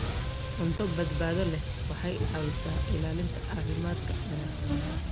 Cunto badbaado leh waxay caawisaa ilaalinta caafimaadka wanaagsan.